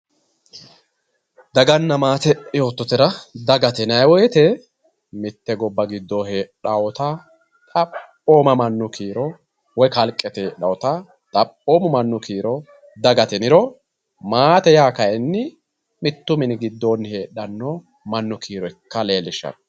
Daganna maate yoototera, dagate yinnayi woyite mite goba gido heedhawota xaphoma manu kiiro woyi kaaliqete heedhata xaphooma manu kiiro dagate yiniro, maate yaa kayini mitu mini gido heedhano manu kiiro manu ikka leelishano.